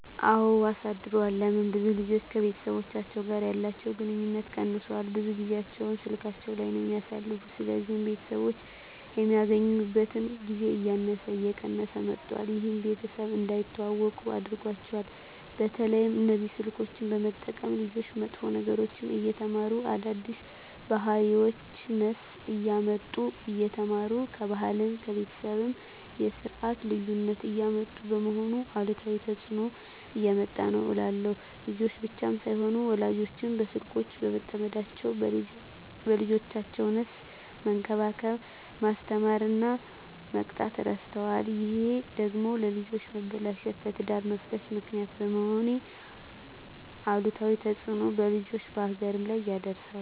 አወ አሳድሯል ለምን ብዙ ልጆች ከቤተሰቦቻቸው ጋር ያለቸዉ ግንኙነት ቀነሷል ብዙ ጊያቸዉን ስላካቸዉ ላይ ነዉ የሚያሳልፉት ስለዚህ ቤተሰቦች የሚገናኙበት ጊዜ እያነሰ እየቀነሰ መጧት ይሄም ቤተሰብ እንዳይተዋወቁ አድርጓቸዋል። በተለይ እነዚህ ስልኮችን በመጠቀም ልጆች መጥፎ ነገሮችን እየተማሩ አዳዲስ ባህሪወችነሰ እያመጡ እየተማሩ ከባህልም ከቤተሰብም የስርት ልዩነት እያመጡ በመሆኑ አሉታዊ ተጽእኖ እያመጣ ነዉ እላለሁ። ልጆች ብቻም ሳይሆኑ ወላጆችም በስልኮች በመጠመዳቸዉ ልጆቻቸዉነሰ መንከባከብ፣ መስተማር እና መቅጣት እረስተዋል ይሄ ደግሞ ለልጆች መበላሸት ለትዳር መፍረስ ምክንያት በመሄን አሉታዊ ተጽእኖ በልጆችም በሀገርም ላይ ያደርሳል።